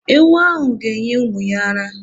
Ewu ahụ ga- enye ụmụ ya ara.